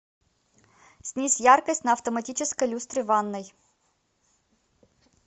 снизь яркость на автоматической люстре в ванной